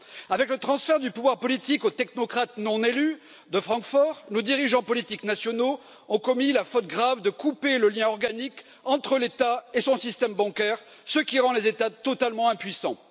Avec le transfert du pouvoir politique aux technocrates non élus de Francfort, nos dirigeants politiques nationaux ont commis la faute grave de couper le lien organique entre l'État et son système bancaire, ce qui rend les États totalement impuissants.